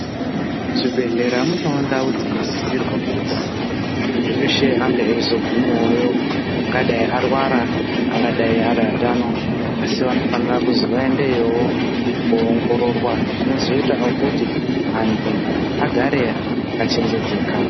Muzvibhedhlera munewo ndau dzinosisirwa kuzi anhu eshe ange achizogumayo angadai arwara angadai ari atano asi vanofanira kuzi vaeendeyowoko koongororwa. Izvi zvinozoita okuti antu agare achenjedzeka.